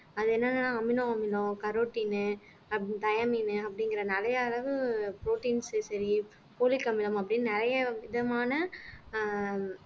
அது என்னன்னா அமினோ அமிலம் கரோட்டின் diamine அப்படிங்கிற நிறைய அளவு proteins சரி folic அமிலம் அப்படின்னு நிறைய விதமான ஆஹ்